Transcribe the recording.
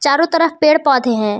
चारों तरफ पेड़ पौधे हैं।